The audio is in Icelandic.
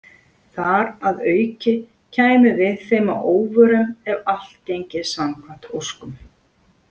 Þar að auki kæmum við þeim að óvörum ef allt gengi samkvæmt óskum.